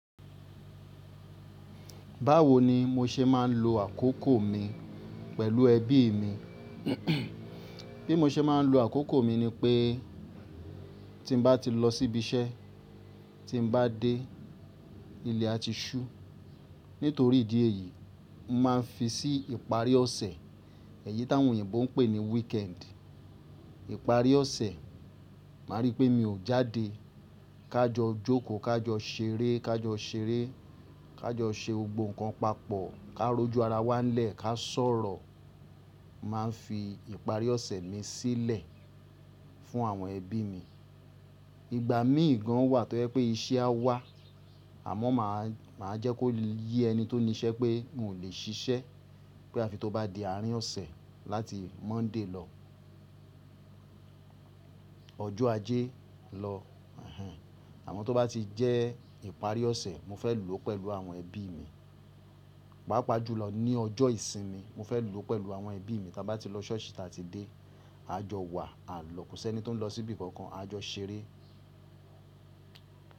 Báwo ni mo ṣe máa ń lo àkókò mi pẹ̀lú ẹbí mi? Bí mo ṣe máa ń lo àkókò mi ni pé tí mo bá ti lọ síbi iṣẹ́, tí mo bá dé ilé a ti ṣú. Nítorí ìdí èyí, mo máa ń fi sí ìparí ọ̀sẹ̀, èyí tí àwọn ènìyàn bọ̀ ń pè ní weekend. Ìparí ọ̀sẹ̀, màá rí pé mi ò jáde. Ká jọ jókòó, ká jọ ṣeré, ká jọ ṣeré, ká jọ ṣe ohun kan papọ̀, ká rojú ara wa lẹ́ẹ̀, ká sọ̀rọ̀. Màá ń fi ìparí ọ̀sẹ̀ mi sílẹ̀ fún àwọn ẹbí mi. Ìgbà mí ìgan wà tó jẹ́ pé iṣẹ́ á wà, àmọ́ màá jẹ́ kó yé ẹni tó ní iṣẹ́ pé n ò lè ṣiṣẹ́. Bí àfi tó bá di àárín ọ̀sẹ̀ láti Monday lọ, ọjọ́ ajé lọ. Àmọ́ tó bá ti jẹ́ ìparí ọ̀sẹ̀, mo fẹ́ lò ó pẹ̀lú àwọn ẹbí mi. Pápá jùlọ ní ọjọ́ ìsinmi, mo fẹ́ lò ó pẹ̀lú àwọn ẹbí mi. Tí a bá ti lọ ṣọ́ọ̀ṣì, tí a ti dé, a jọ wà, a lọ. Kò sí ẹni tó ń lọ síbi kankan, a jọ ṣeré.